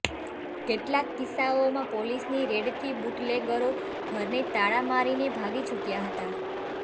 કેટલાક કિસ્સાઓમાં પોલીસની રેડથી બુટલેગરો ઘરને તાળા મારીને ભાગી છુટયા હતાં